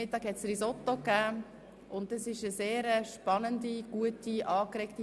Zum Mittagessen gab es Risotto, und die Stimmung war sehr spannend, gut und angeregt.